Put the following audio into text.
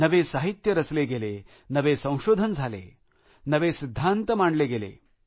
नवे साहित्य रचले गेले नवे संशोधन झाले नवे सिद्धांत मांडले गेले